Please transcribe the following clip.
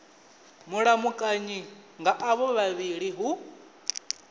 mulamukanyi nga avho vhavhili hu